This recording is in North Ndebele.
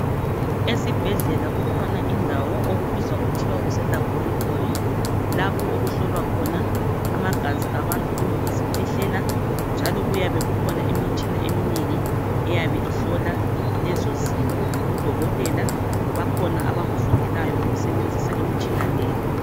Esibhedlela kukhona indawo okubizwa kuthiwa kuselaboratory lapho okuhlolwa khona amagazi abantu kumbe izikhwehlela njalo kuyabe kukhona imitshina eminengi eyabe ihlola lezozinto odokotela bakhona abakufundelayo ukusebenzisa imitshina leyi.